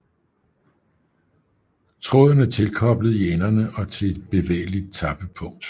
Tråden er tilkoblet i enderne og til et bevægeligt tappepunkt